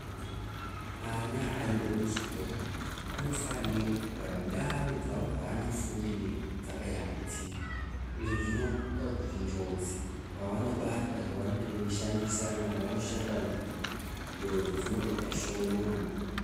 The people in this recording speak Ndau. Ana ane ekuzvikora anofanira kugara ndau dzawo dzaanofundire dzakayambidzika. Izvo zvinoita kuti njodzi, pavanobata zvavanenge veishandisana navo vavanoshanda njodzi dzinoita shomana.